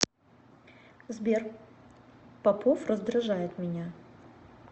сбер попов раздражает меня